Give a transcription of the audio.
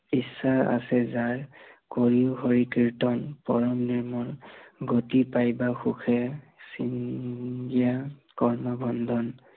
ইচ্ছা আছে যাৰ, কৰিয়ো হৰি কীৰ্তন, পৰম নিৰ্মল, গতি পায়বা সুখে, চিন্তা কৰ্ম ভণ্ডন